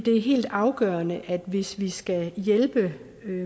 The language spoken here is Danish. er helt afgørende at hvis vi skal hjælpe